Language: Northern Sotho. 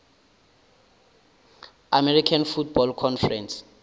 american football conference